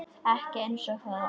Ekki einsog það var.